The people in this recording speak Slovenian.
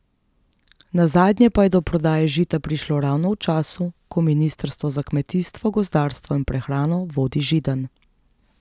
Nazadnje pa je do prodaje Žita prišlo ravno v času, ko ministrstvo za kmetijstvo, gozdarstvo in prehrano vodi Židan.